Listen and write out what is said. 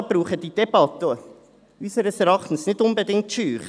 Die Notare brauchen diese Debatte unseres Erachtens nicht unbedingt zu scheuen.